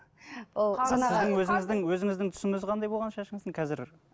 ол өзіңіздің өзіңіздің түсіңіз қандай болған шашыңыздың қазір